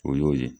O y'o ye